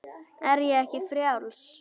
Er ég ekki frjáls?